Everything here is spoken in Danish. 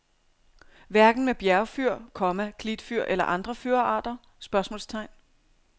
Hverken med bjergfyr, komma klitfyr eller andre fyrrearter? spørgsmålstegn